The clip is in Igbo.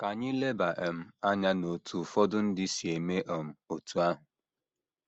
Ka anyị leba um anya n’otú ụfọdụ ndị si eme um otú ahụ.